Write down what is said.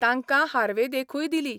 तांकां हार्वे देखूय दिली.